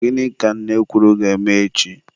Gịnị ka nne kwuru ga-eme echi?